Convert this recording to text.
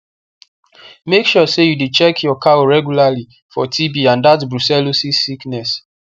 make sure say you dey check your cow regularly for tb and that brucellosis sickness